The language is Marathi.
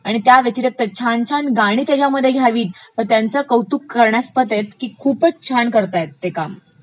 त्याव्यतिरीक्त छान छान गाणी त्याच्यामध्ये घ्यावी, मग त्यांचे कौतुक करण्यस्पद आहे की खूपचं छान करतायत ते काम